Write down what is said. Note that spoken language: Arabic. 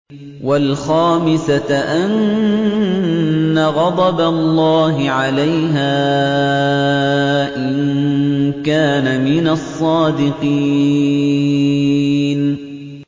وَالْخَامِسَةَ أَنَّ غَضَبَ اللَّهِ عَلَيْهَا إِن كَانَ مِنَ الصَّادِقِينَ